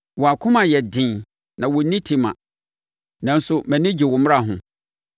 Wɔn akoma yɛ den na wɔnni tema, nanso mʼani gye wo mmara ho.